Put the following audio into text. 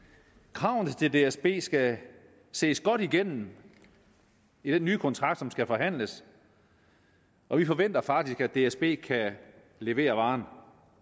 kravene til dsb skal ses godt igennem i den nye kontrakt som skal forhandles og vi forventer faktisk at dsb kan levere varen